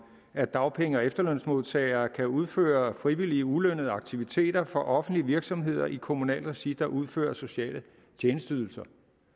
at dagpenge og efterlønsmodtagere kan udføre frivillige ulønnede aktiviteter for offentlige virksomheder i kommunalt regi hvor der udføres sociale tjenesteydelser